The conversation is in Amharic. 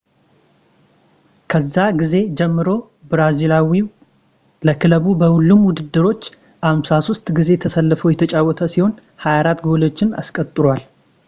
ከዛ ጊዜ ጀምሮ ብራዚሊያዊው ለክለቡ በሁሉም ውድድሮች 53 ጊዜ ተሰልፎ የተጫወተ ሲሆን 24 ጎሎችን አስቆጥሯል